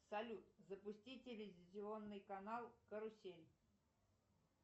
салют запусти телевизионный канал карусель